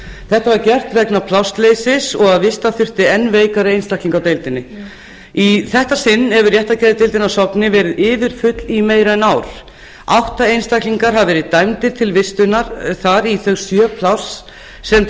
þetta var gert vegna plássleysis og að vista þurfti enn veikari einstakling á deildinni í þetta sinn hefur réttargeðdeildin á sogni verið yfirfull í meira en ár átta einstaklingar hafa verið dæmdir til vistunar þar í þau sjö pláss sem til